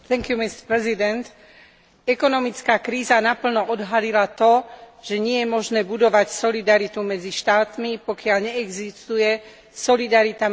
Ekonomická kríza naplno odhalila to, že nie je možné budovať solidaritu medzi štátmi, pokiaľ neexistuje solidarita medzi občanmi týchto štátov.